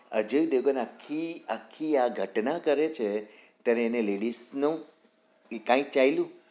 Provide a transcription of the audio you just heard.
અજય દેવગન આખી આખી આ ઘટના કરે છે ત્યારે એને ladies નો ઈ કાઈંક ચાલ્યું?